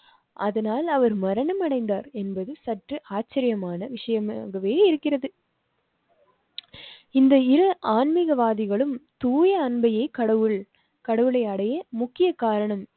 அதனால் அவர் மரணமடைந்தார் என்பது சற்று ஆச்சரியமான விஷயமாகவே இருக்கிறது. இந்தயில் ஆண்மிக வாதிகளும் தூய அன்பையே கடவுள் கடவுளை அடைய முக்கிய காரணம்